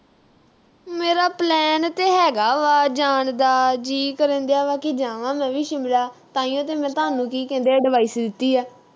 ਮੇਰਾ plan ਤਾਂ ਹੈਗਾ ਵਾ ਜਾਣ ਦਾ । ਜੀਅ ਕਰਨ ਡਿਆ ਵਾ ਕਿ ਜਾਵਾਂ ਮੈਂ ਵੀ ਸ਼ਿਮਲਾ ਤਾਂਹੀਓਂ ਤਾਂ ਮੈਂ ਤੁਹਾਨੂੰ ਕੀ ਕਹਿੰਦੇ ਆ, advice ਦਿੱਤੀ ਆ।